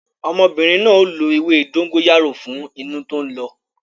Ọmọbìnrin na ó lo ewé dóngóyárò fún inú tó ń lọ